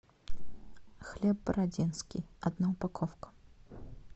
хлеб бородинский одна упаковка